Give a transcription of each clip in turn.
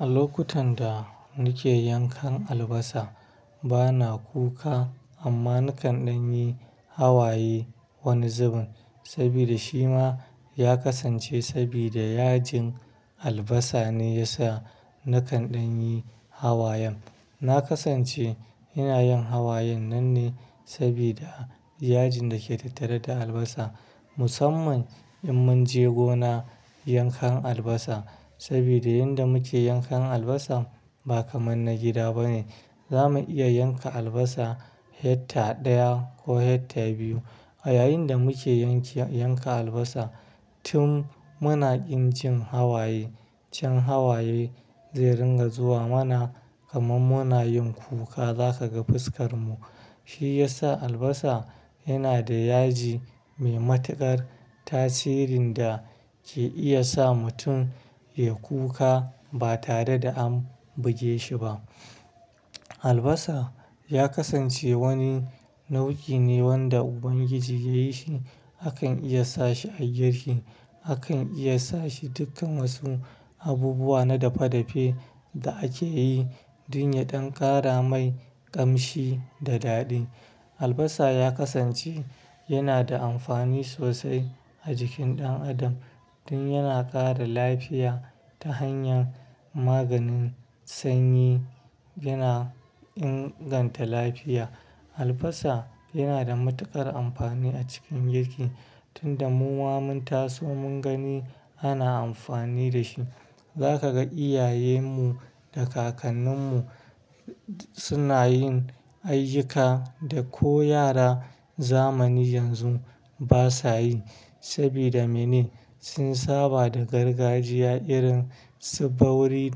A lokutan da nake yankan albasa bana kuka amma nakan dan yi hawaye wani zubin sabida shi ma ya kasance sabida yajin albasa ne ya sa nakan yi hawayen. Na kasance ina yin hawayen nan ne sabida yajin dake tattare da albasa. Musamman in mun je gona yankan albasa sabida yanda muke yankan albasa ba kamar na gida ba ne. Za mu iya yanka albasa hekta ɗaya ko hekta biyu. A yayin da muke yanka albasa tun muna ƙin cin hawaye, can hawaye zai ringa zuwa mana kamar muna yin kuka. Zaka ga fuskar mu. Shi yasa albasa yana da yaji mai matukar tasirin da ke iya sa mutum yai kuka ba tare da an buge shi ba. Albasa ya kasance wani nau'i ne wanda Ubangiji yayi shi. Akan iya sa shi a girki, akan iya sa shi dukkan wasu abubuwa na dafe-dafe da ake yi don ya don ƙara mai ƙamshi da daɗi. Albasa ya kasance yana da amfani sosai a jikin ɗan adam tun yana ƙara lafiya ta hanyar maganin sanyi, yana inganta lafiya. Albasa yana da matuƙar amfani a cikin girki tun da muma mun taso mun gani ana amfani da shi. Za ka ga iyayenmu da kakanninmu suna yin ayyuka da ko yara zamani yanzu ba sa yi. Sabida mene? Sun saba da gargajiya irin su bauri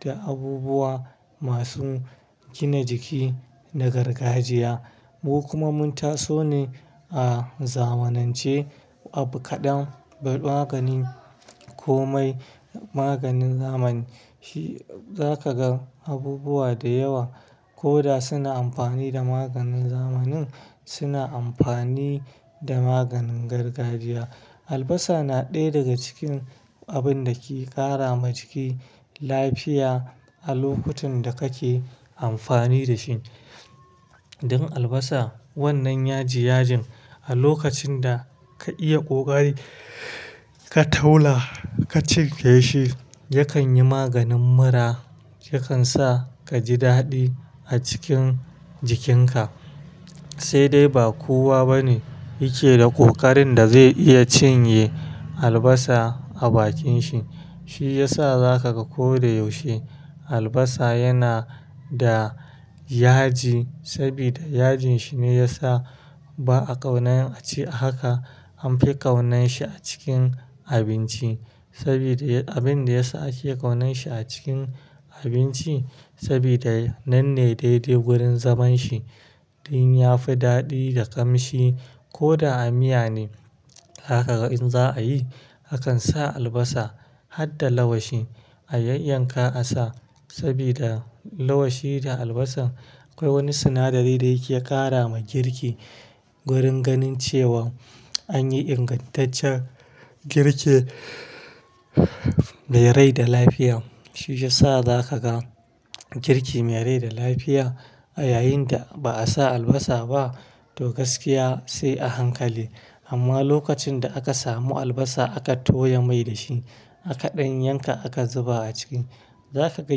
da abubuwa masu gina jiki na gargajiya. Mu kuma mun taso ne a zamanance. Abu kaɗan magani ko mai maganin zamani shi, za ka ga abubuwa da yawa koda suna amfani da maganin zamani suna amfani da maganin gargajiya. Albasa na ɗaya daga cikin abin da ke ƙara ma jiki lafiya a lokutan da kake amfani da shi. Don albasa wannan yaji yajin a lokacin da ka iya ƙoƙari ka taula ka cinye shi, yakan yi maganin mura, yakan sa ka ji daɗi a cikin jikinka. Sai dai ba kowa bane yake da ƙoƙarin da zai iya cinye albasa a bakin shi. Shi ya sa za ka ga ko da yaushe albasa yana da yaji sabida yajin shi ne ya sa ba a ƙaunan a ci a haka. An fi ƙaunan shi a cikin abinci sabida abin da ya sa ake ƙaunan shi a cikin abinci sabida nan ne daidai wurin zaman shi tun ya fi daɗi da ƙamshi. Koda a miya ne zaka ga in za'a yi, akan sa albasa har da lawashi a yanyanka a sa sabida lawashi da albasa akwai wani sinadari da yake ƙara ma girki. Gurin ganin cewa an yi ingantaccen girki mai rai da lafiya. Shi ya sa za ka ga girki mai rai da lafiya a yayin da ba'a sa albasa ba to gaskiya sai a hankali. Amma lokacin da aka samu albasa aka toya mai da shi aka ɗan yanka aka zuba a ciki. Za ka ga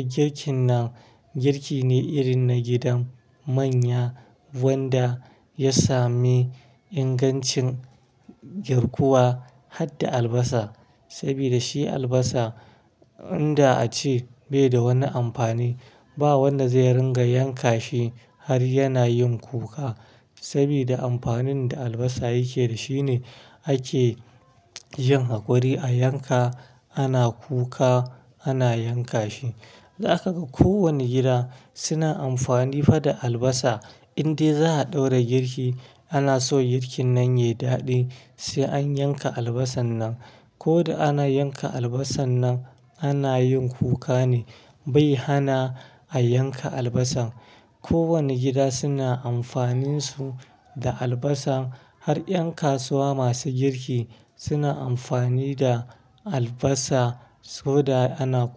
girkin nan girki ne irin na gidan manya wanda ya sami ingancin girkuwa har da albasa. Sabida shi albasa inda a ce bai da wani amfani. Ba wanda zai ringa yanka shi har yana yin kuka sabida amfanin da albasa yake da shi ne ake yin haƙuri a yanka ana kuka ana yanka shi. Za ka ga kowane gida suna amfani fa da albasa. Indai za'a ɗaura girki ana so girkin nan yayi daɗi sai an yanka albasar nan. Koda ana yanka albasar nan ana yin kuka ne bai hana a yanka albasa. Ko wane gida suna amfanin su da albasa har ƴan kasuwa masu girki suna amfani da albasa sabida ana.